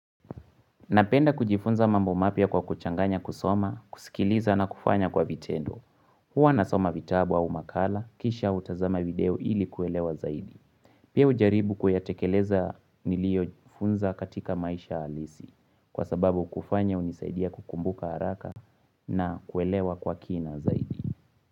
Napenda kujifunza mambo mapia kwa kuchanganya kusoma, kusikiliza na kufanya kwa vitendo. Huwa nasoma vitabu au makala, kisha utazama video ili kuelewa zaidi. Pia ujaribu kuyatekeleza nilio funza katika maisha alisi. Kwa sababu kufanya unisaidia kukumbuka haraka na kuelewa kwa kina zaidi.